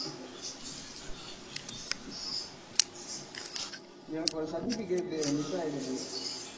எனக்கு ஒரு certificate உ miss ஆயிடுச்சு.